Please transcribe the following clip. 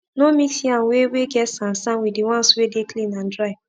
no mix yam wey wey get sand sand with d ones wey dey clean and dry